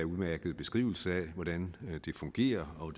udmærket beskrivelse af hvordan det fungerer og